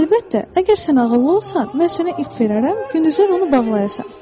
Əlbəttə, əgər sən ağıllı olsan, mən sənə ip verərəm, gündüzlər onu bağlayasan.